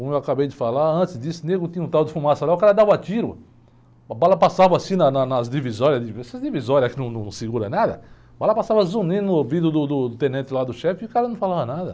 Como eu acabei de falar antes disso, tinha um tal de, o cara dava tiro, a bala passava assim na, na, nas divisórias de, essas divisórias que não, não seguram nada, a bala passava zunindo no ouvido do, do tenente lá do chefe e o cara não falava nada.